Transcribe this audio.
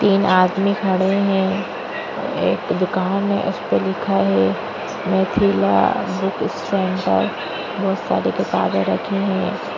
तीन आदमी खड़े हैं एक दुकान है उसे पर लिखा है मिथिला बुक सेंटर बहुत सारी किताबें रखी है ।